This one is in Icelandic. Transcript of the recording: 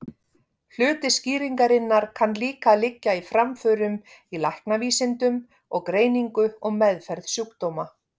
Hluti skýringarinnar kann líka að liggja í framförum í læknavísindum og greiningu og meðferð sjúkdóma.